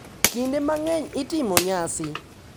Kinde mang’eny itimo nyasi,